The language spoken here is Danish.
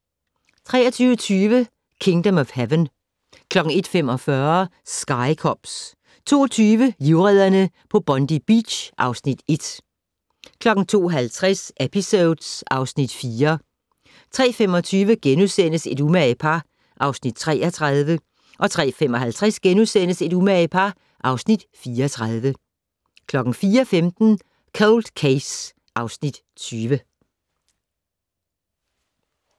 23:20: Kingdom of Heaven 01:45: Sky Cops 02:20: Livredderne på Bondi Beach (Afs. 1) 02:50: Episodes (Afs. 4) 03:25: Et umage par (Afs. 33)* 03:55: Et umage par (Afs. 34)* 04:15: Cold Case (Afs. 20)